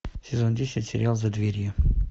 сезон десять сериал за дверью